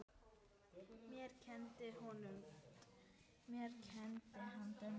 Mér kenndi hann dönsku.